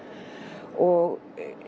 og